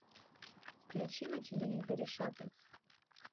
включи на телевизоре шопинг